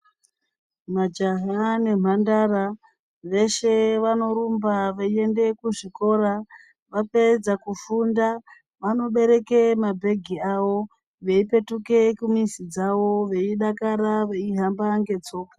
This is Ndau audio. Majaha ne mhandara veshe vanorumba voende ku zvikora vapedza kufunda vano bereke mabhegi awo vei petuke ku mizi dzawo vei dakara vei hamba nge tsoka.